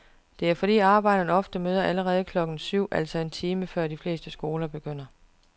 Det er fordi arbejdere ofte møder allerede klokken syv, altså en time før de fleste skoler begynder.